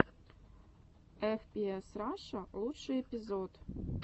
эф пи эс раша лучший эпизод